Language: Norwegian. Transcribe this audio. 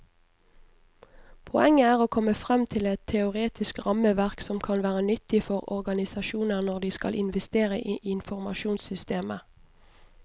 Poenget er å komme frem til et teoretisk rammeverk som kan være nyttig for organisasjoner når de skal investere i informasjonssystemer.